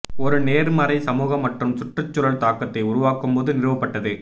ஒரு நேர்மறை சமூக மற்றும் சுற்றுச்சூழல் தாக்கத்தை உருவாக்கும் போது நிறுவப்பட்டது